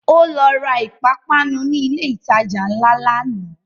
Ó lọ ra ìpápánu ni ilẹ̀ ìtajà ńlá lánàá